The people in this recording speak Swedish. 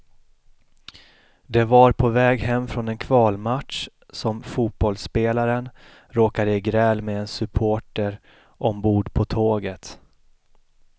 Det var på väg hem från en kvalmatch som fotbollsspelaren råkade i gräl med en supporter ombord på tåget.